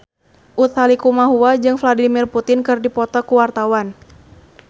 Utha Likumahua jeung Vladimir Putin keur dipoto ku wartawan